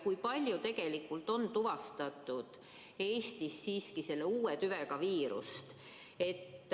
Kui palju on Eestis siiski tuvastatud selle uue tüvega viirust?